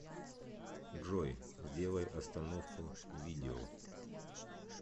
джой сделай остановку видео